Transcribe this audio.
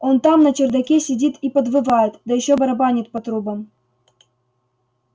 он там на чердаке сидит и подвывает да ещё барабанит по трубам